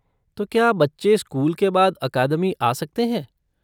तो क्या बच्चे स्कूल के बाद अकादमी आ सकते हैं?